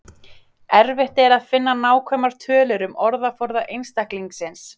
Erfitt er að finna nákvæmar tölur um orðaforða einstaklingsins.